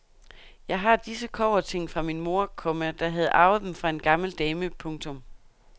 Jeg har disse kobberting fra min mor, komma der havde arvet dem fra en gammel dame. punktum